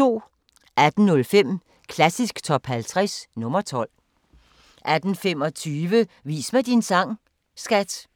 18:05: Klassisk Top 50 – nr. 12 18:25: Vis mig din sang, skat!